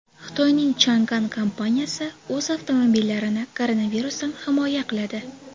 Xitoyning Changan kompaniyasi o‘z avtomobillarini koronavirusdan himoya qiladi.